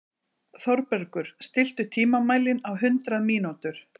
Þorbergur, stilltu tímamælinn á hundrað mínútur.